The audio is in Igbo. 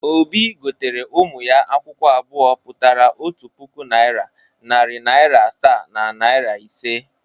Obi gotere ụmụ ya akwụkwọ abụọ pụtara otu puku naịra, narị naịra asaa na naịra ise.